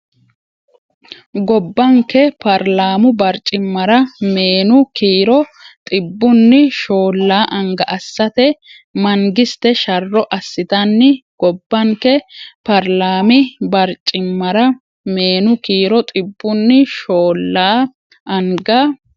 Gobbanke paarlaami barcimmara meenu kiiro xibbunni shoollaa anga assate mangiste sharro assitanni Gobbanke paarlaami barcimmara meenu kiiro xibbunni shoollaa anga.